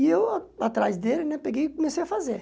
E eu, atrás dele né, peguei e comecei a fazer.